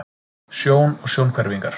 Sjón og sjónhverfingar.